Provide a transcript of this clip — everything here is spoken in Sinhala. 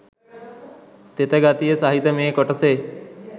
තෙත ගතිය සහිත මේ කොටසේ